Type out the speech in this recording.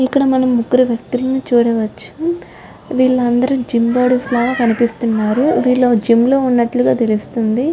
ఇక్కడ మనం ముగ్గురు వ్యక్తులను చూడవచ్చు. వీళ్ళందరూ జిమ్ బాడీ లాగా కనిపిస్తున్నారు. విల్లు జిమ్ము లో ఉన్నట్లుగా తెలుస్తుంది.